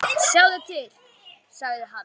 Sjáðu til, sagði hann.